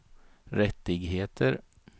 rättigheter